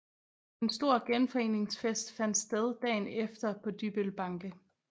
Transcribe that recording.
En stor genforeningsfest fandt sted dagen efter på Dybbøl Banke